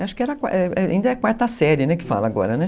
Acho que ainda é quarta série que fala agora, né?